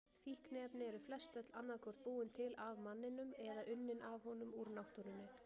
Fíkniefni eru flestöll annað hvort búin til af manninum eða unnin af honum úr náttúrunni.